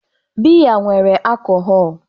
Biya nwere akohọl.